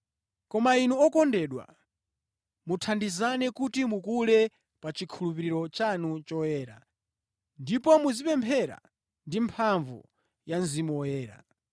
Koma inu okondedwa, muthandizane kuti mukule pa chikhulupiriro chanu choyera, ndipo muzipemphera ndi mphamvu ya Mzimu Woyera.